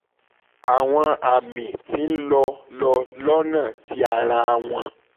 awọn ami ti n lọ lọ lọ́nà ti ara wọn